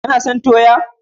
Kana son toya?